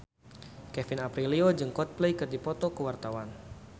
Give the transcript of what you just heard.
Kevin Aprilio jeung Coldplay keur dipoto ku wartawan